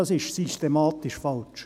Dies ist systematisch falsch.